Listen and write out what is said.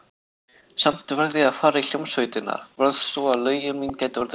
Samt varð ég að fara í hljómsveitina, varð, svo að lögin mín gætu orðið lifandi.